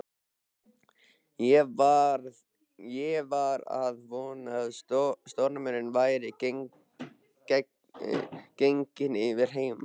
Ég var að vona að stormurinn væri genginn yfir heima.